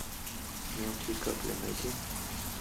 мелкие капли найди